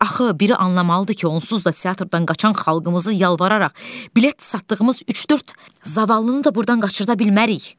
Axı biri anlamalıdır ki, onsuz da teatrdan qaçan xalqımızı yalvararaq bilet satdığımız üç-dörd zavallını da burdan qaçırda bilmərik.